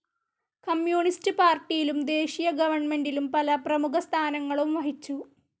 കമ്മ്യുണിസ്റ്റുപാർട്ടിയിലും ദേശീയ ഗവണ്മെൻ്റിലും പല പ്രേമുഖ സ്ഥാനങ്ങളും വഹിച്ചു.